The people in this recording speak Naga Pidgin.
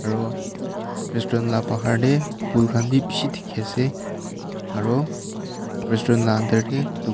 aro restaurant la bahar tey phool khan bishi dikhiase aro restaurant la ander tey--